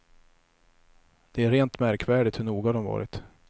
Det är rent märkvärdigt hur noga de varit.